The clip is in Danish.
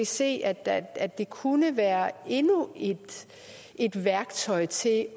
se at at det kunne være endnu et værktøj til at